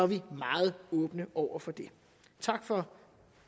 vi meget åbne over for det tak for